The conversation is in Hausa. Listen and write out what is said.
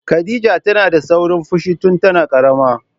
Khadija tana da saurin fushi tun tana ƙarama.